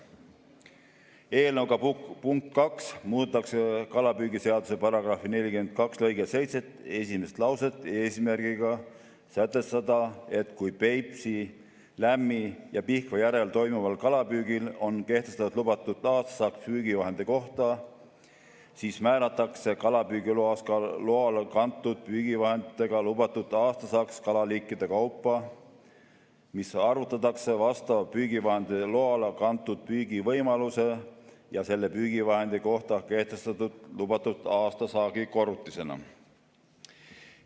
Eelnõu punktiga 2 muudetakse kalapüügiseaduse § 42 lõike 7 esimest lauset, eesmärgiga sätestada, et kui Peipsi, Lämmi‑ ja Pihkva järvel toimuvale kalapüügile on kehtestatud lubatud aastasaak püügivahendi kohta, siis määratakse kalapüügiloale kantud püügivahendiga lubatud aastasaak kalaliikide kaupa, mis arvutatakse vastava püügivahendi loale kantud püügivõimaluse ja selle püügivahendi kohta kehtestatud lubatud aastase saagi korrutisena.